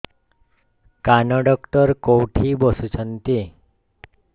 କାନ ଡକ୍ଟର କୋଉଠି ବସୁଛନ୍ତି